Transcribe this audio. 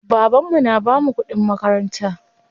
Baban mu na bamu kuɗin makaranta.